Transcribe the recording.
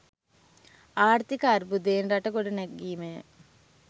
ආර්ථික අර්බුදයෙන් රට ගොඩ ගැනීමය